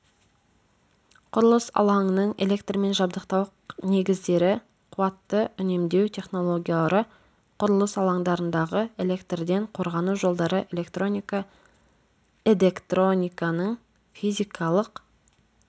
құрылыс алаңының электрмен жабдықтау негіздері қуатты үнемдеу технологиялары құрылыс алаңдарындағы электрден қорғану жолдары электроника эдектрониканың физикалық